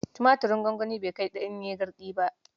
Tumatirn gwangwani bai kai ɗanye garɗi ba.